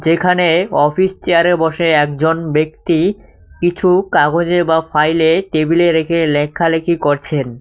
এখানে অফিস চেয়ারে বসে একজন ব্যক্তি কিছু কাগজে বা ফাইলে টেবিলে রেখে লেখালেখি করছেন।